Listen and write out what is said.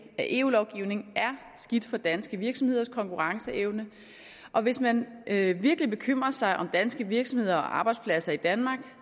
af eu lovgivning er skidt for danske virksomheders konkurrenceevne og hvis man virkelig bekymrer sig om danske virksomheder og arbejdspladser i danmark